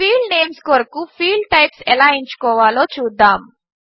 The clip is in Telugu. ఫీల్డ్ నేంస్ కొరకు ఫీల్డ్ టైప్స్ ఎలా ఎంచుకోవాలో చూద్దాము